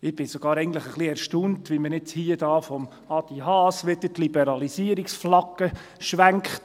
Ich bin eigentlich sogar ein bisschen erstaunt, wie jetzt Adrian Haas hier wieder die Liberalisierungsflagge schwenkt.